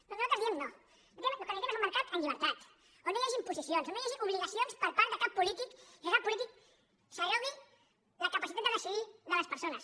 doncs nosaltres hi diem no el que necessitem és un mercat en llibertat on no hi hagi imposicions on no hi hagi obligacions per part de cap polític que cap polític s’arrogui la capacitat de decidir de les persones